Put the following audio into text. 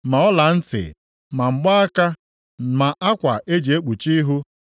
ma ọlantị, ma mgbaaka, ma akwa e ji ekpuchi ihu,